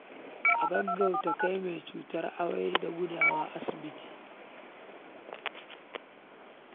A gaggauta kai mai cutar amai da gudawa zuwa asibiti